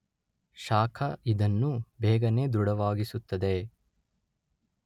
ಶಾಖ ಇದನ್ನು ಬೇಗನೆ ದೃಢವಾಗಿಸುತ್ತದೆ.